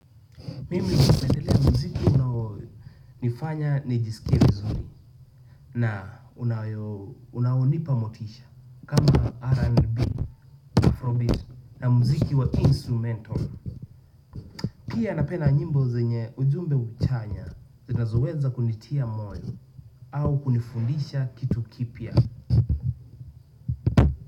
Mimi napendelea muziki unao nifanya nijisikie vizuri na unaonipa motisha kama RNB Afrobeat na muziki wa instrumental pia napenda nyimbo zenye ujumbe uchanya zinazoweza kunitia moyo au kunifundisha kitu kipya.